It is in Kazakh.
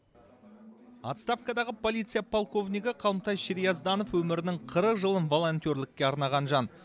отставкадағы полиция полковнигі қалымтай шерьязданов өмірінің қырық жылын волонтерлікке арнаған жан